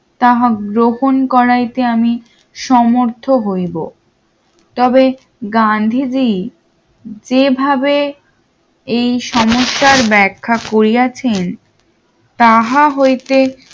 তাহা গ্রহণ করাইতে আমি সমর্থ্য হইব তবে গান্ধীজি যেভাবে এই সমস্যার ব্যাখ্যা করিয়াছেন তাহা হইতে